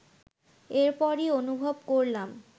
এরপরই অনুভব করলাম